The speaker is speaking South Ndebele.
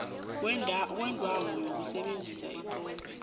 kwendawo yokusebenza etlolwe